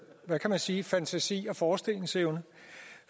hvad kan man sige fantasi og forestillingsevne